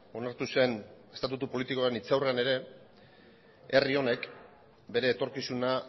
onartu zen estatutu politikoaren hitzaurrean ere herri honek bere etorkizuna